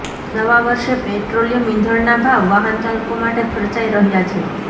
નવા વર્ષે પેટ્રોલિયમ ઇંધણના ભાવ વાહનચાલકો માટે ખર્ચાઇ રહ્યા છે